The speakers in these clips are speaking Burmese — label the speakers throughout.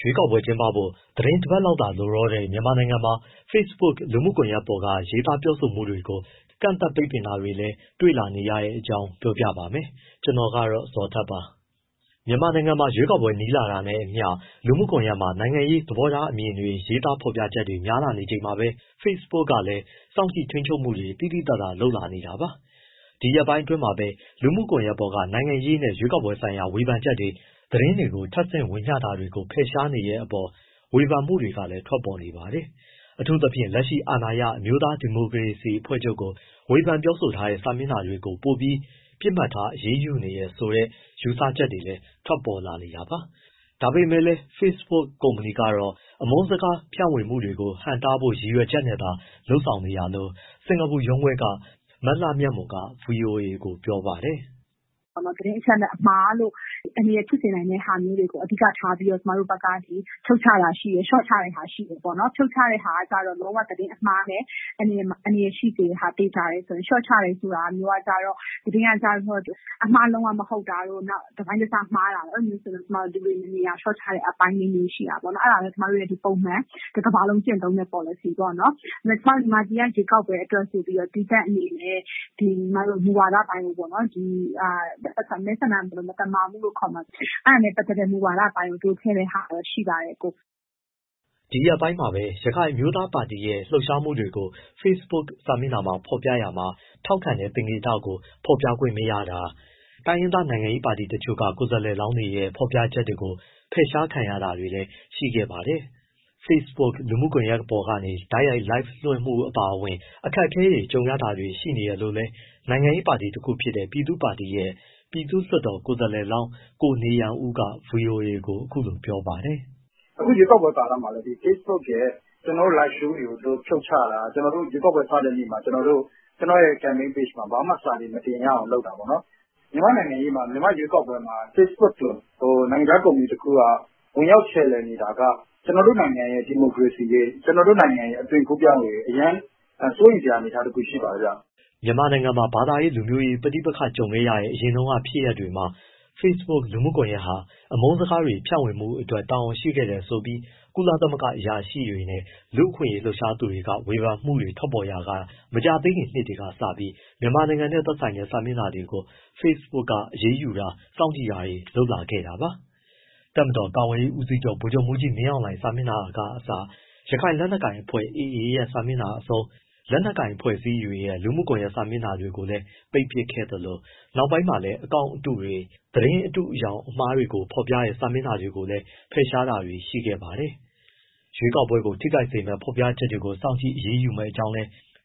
Speaker 1: ရွေးကောက်ပွဲတွေ ကျင်းပဖို့ သီတင်းပတ်လောက်သာ လိုတော့တဲ့ မြန်မာနိုင်ငံမှာ Facebook လူမှုကွန်ရက်ပေါ်က ရေးသားပြောဆိုမှုတွေကို ကန့်သတ်ပိတ်ပင်တာတွေလည်း တွေ့လာနေရတဲ့အကြောင်း ဗွီအိုအေမြန်မာပိုင်းသတင်းထောက် ကိုဇော်ထက်က ပြောပြပါမယ်။ မြန်မာနိုင်ငံမှာ ရွေးကောက်ပွဲ နီးလာတာနဲ့အမျှ လူမှုကွန်ရက်မှာ နိုင်ငံရေး သဘောထားအမြင်တွေ ရေးသားဖော်ပြချက်တွေ များလာနေချိန်မှာပဲ Facebook ကလည်း စောင့်ကြည့် ထိန်းချုပ်မှုတွေ သိသိသာသာ လုပ်လာနေတာပါ။ ဒီရက်ပိုင်းအတွင်းမှာပဲ လူမှုကွန်ရက်ပေါ်က နိုင်ငံရေးနဲ့ ရွေးကောက်ပွဲဆိုင်ရာ ဝေဖန်ချက်တွေ၊ သတင်းတွေကို ထပ်ဆင့်ဝေမျှတာတွေကို ဖယ်ရှားနေတဲ့အပေါ် ဝေဖန်မှုတွေလည်း ထွက်ပေါ်နေပါတယ်။ အထူးသဖြင့် လက်ရှိအာဏာရ အမျိုးသား ဒီမိုကရေစီအဖွဲ့ချုပ်ကို ဝေဖန်ပြောဆိုထားတဲ့ စာမျက်နှာတွေကို ပိုပြီးပစ်မှတ်ထား အရေးယူနေတယ်ဆိုတဲ့ ယူဆချက်တွေလည်း ထွက်ပေါ်လာနေတာပါ။ ဒါပေမဲ့လည်း Facebook ကုမ္ပဏီကတော့ အမုန်းစကားဖြန့်ဝေမှုတွေကို ဟန့်တားဖို့ ရည်ရွယ်ချက်နဲ့သာ ဆောင်ရွက်နေတာလို့ စင်္ကာပူရုံးခွဲက မလှမြတ်မွန်က ဗွီအိုအေကို ပြောပါတယ်။
Speaker 2: “သတင်းအချက်အလက်အမှားလို့ အန္တရာယ်ဖြစ်စေနိုင်တဲ့ဟာမျိုးတွေကို အဓိကထားပြီး ကျမတို့ဘက်က ဖြုတ်ချတာရှိတယ်၊ လျှော့ချတာရှိတယ်။ ဖြုတ်ချတဲ့ဟာက လုံးဝ သတင်းအမှားနဲ့ အန္တရာယ်ဖြစ်စေတဲ့ဟာ သေချာတယ်ဆိုရင်။ လျှော့ချတယ်ဆိုတဲ့ဟာမျိုးက သတင်းက အမှားလုံးဝ မဟုတ်တာတို့ နောက် တပိုင်းတစ မှားတာတို့ဆို ဒီလို ဒီနေရာ လျှော့ချတဲ့အပိုင်းလေးတွေ ရှိတာပေါ့နော်။ အဲဒါက ကျမတို့ရဲ့ ပုံမှန် တကမ္ဘာလုံး ကျင့်သုံးတဲ့ ပေါ်လစီပေါ့နော်။ မြန်မာပြည်က ရွေးကောက်ပွဲအတွက်ဆိုပြီးတော့ သီးသန့်အနေနဲ့ မူဝါဒအပိုင်းပေါ့... မဲဆန္ဒနယ် မသမာမှုလို့ပဲ ခေါ်မလား အဲဒါနဲ့ပတ်သတ်တဲ့ မူဝါဒအပိုင်း တိုးချဲ့တဲ့အပိုင်းတော့ ရှိပါတယ်။
Speaker 1: ” ဒီရက်ပိုင်းမှာပဲ ရခိုင်အမျိုးသားပါတီရဲ့ လှုပ်ရှားမှုကို ဖေ့စ်ဘွတ်စာမျက်နှာမှာ ဖော်ပြရာမှာ ထောက်ခံတဲ့ သင်္ကေတကို ဖော်ပြခွင့်မရခဲ့တာ တိုင်းရင်းသား နိုင်ငံရေးပါတီတချို့က ကိုယ်စားလှယ်လောင်းတွေရဲ့ ဖော်ပြချက်တွေကို ဖယ်ရှားခံခဲ့ရတာတွေလည်း ရှိခဲ့ပါတယ်။ Facebook လူမှုကွန်ရက်ကနေ တိုက်ရိုက် Live ထုတ်လွှင့်မှု အပါအဝင် အခက်အခဲတွေ ကြုံရတာတွေ ရှိနေတယ်လို့လည်း နိုင်ငံရေးပါတီ တခုဖြစ်တဲ့ ပြည်သူ့ပါတီရဲ့ ပြည်သူ့လွှတ်တော် ကိုယ်စားလှယ်လောင်း ကိုနေယံဦးက ဗွီအိုအေကို အခုလိုပြောပါတယ်။
Speaker 3: “အခုရွေးကောက်ပွဲ ကာလမှာလည်း Facebook ရဲ့ ကျနော်တို့ live show တွေကို သူတို့ဖြုတ်ချတာ ရွေးကောက်ပွဲစတဲ့နေ့မှာ ကျနော့်ရဲ့ campaign page မှာ ဘာမှစာတွေ မတင်ရအောင် လုပ်တာပေါ့။ မြန်မာ့နိုင်ငံရေးမှာ မြန်မာ့ရွေးကောက်ပွဲမှာ Facebook လို နိုင်ငံခြား ကုမ္ပဏီတစ်ခုက ဝင်ရောက်ခြယ်လှယ်နေတာက ကျနော်တို့ နိုင်ငံရဲ့ ဒီမိုကရေစီရေး၊ ကျနော်တို့နိုင်ငံရဲ့ အသွင်ကူးပြောင်းရေး အရမ်းစိုးရိမ်စရာအနေအထားမျိုး ရှိပါတယ်။
Speaker 1: ” မြန်မာနိုင်ငံမှာ ဘာသာရေး၊ လူမျိုးရေး ပဋိပက္ခတွေ ကြုံခဲ့ရတဲ့ အရင်တုန်းက ဖြစ်ရပ်တွေမှာ Facebook လူမှုကွန်ရက်ဟာ အမုန်းစကားတွေ ဖြန့်ဝေမှုအတွက် တာဝန်ရှိခဲ့တယ်ဆိုပြီး ကုလသမဂ္ဂ အရာရှိတွေနဲ့ လူ့အခွင့်အရေး လှုပ်ရှားသူတွေ ဝေဖန်မှုတွေ ထွက်ပေါ်ခဲ့ရာက မကြာသေးခင် နှစ်တွေကစပြီး မြန်မာနိုင်ငံနဲ့ သက်ဆိုင်တဲ့ စာမျက်နှာတွေကို Facebook က အရေးယူတာ စောင့်ကြည့်တာတွေ လုပ်လာခဲ့တာပါ။ တပ်မတော် ကာကွယ်ရေးဦးစီးချုပ် ဗိုလ်ချုပ်မှူးကြီး မင်းအောင်လှိုင် စာမျက်နှာကအစ ရခိုင်လက်နက်ကိုင် အဖွဲ့ AA ရဲ့ စာမျက်နှာအဆုံး လက်နက်ကိုင် အဖွဲ့အစည်းတွေရဲ့ လူမှုကွန်ရက်စာမျက်နှာတွေကိုလည်း ပိတ်ပစ်ခဲ့သလို နောက်ပိုင်းမှာလည်း အကောင့်အတုတွေ၊ သတင်းအတုအယောင်တွေ၊ သတင်းမှားတွေ ဖော်ပြတဲ့ စာမျက်နှာတွေကို ဖယ်ရှားတာတွေလည်း ရှိခဲ့ပါတယ်။ ရွေးကောက်ပွဲထိခိုက်မယ့် ဖော်ပြချက်တွေကို ဖယ်ရှားမယ်ဆိုတာ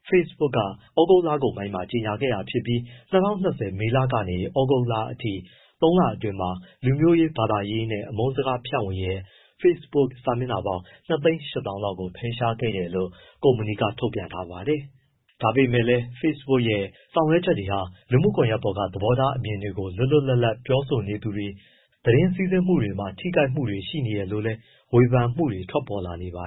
Speaker 1: Facebook က ဩဂုတ်လကုန်ပိုင်းမှာ ကြေညာခဲ့တာဖြစ်ပြီး ၂၀၂၀ မေလကနေ ဩဂုတ်လအထိ သုံးလအတွင်းမှာ လူမျိုးရေး၊ ဘာသာရေးနဲ့ အမုန်းစကားဖြန့်ဝေတဲ့ Facebook စာမျက်နှာပေါင်း ၂၈၀,၀၀၀ လောက်ကို ဖယ်ရှားခဲ့တယ်လို့ ကုမ္ပဏီက ထုတ်ပြန်ထားပါတယ်။ ဒါပေမဲ့လည်း Facebook ရဲ့ ဆောင်ရွက်ချက်တွေဟာ လူမှုကွန်ယက်ပေါ်က သဘောထားအမြင်တွေကို လွပ်လွပ်လပ်လပ် ပြောဆိုနေသူတွေ၊ သတင်း စီးဆင်းမှုတွေမှာ ထိခိုက်မှုတွေ ရှိနေတယ်လို့လည်း ဝေဖန်မှုတွေ ထွက်ပေါ်လာနေပါ